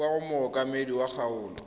kwa go mookamedi wa kgaolo